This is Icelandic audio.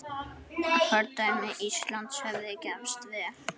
Fordæmi Íslands hefði gefist vel.